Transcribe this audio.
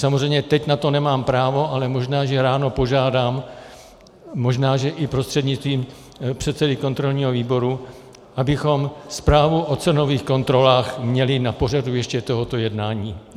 Samozřejmě teď na to nemám právo, ale možná že ráno požádám, možná že i prostřednictvím předsedy kontrolního výboru, abychom zprávu o cenových kontrolách měli na pořadu ještě tohoto jednání.